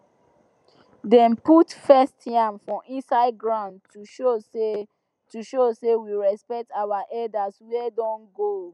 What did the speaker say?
dem put first yam for inside ground to show say to show say we respect our elders wey don go